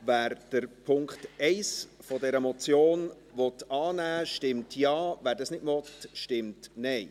Wer den Punkt 1 der Motion annehmen will, stimmt Ja, wer dies nicht will, stimmt Nein.